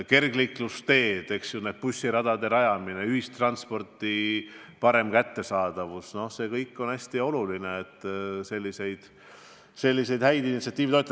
Kergliiklusteed, bussiradade rajamine, ühistranspordi parem kättesaadavus – see kõik on hästi oluline ja toetab häid initsiatiive.